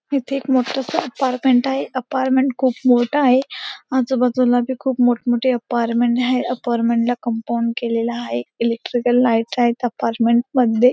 इथे एक मोठस अपारमेंट आहे अपारमेंट खूप मोठा आहे आजूबाजूला बी खूप मोठमोठ्या अपारमेंट आहे अपारमेंटला कंपाउंड केलेला हाये इलेक्ट्रिकल लाइट्स आहेत अपारमेंट मध्ये --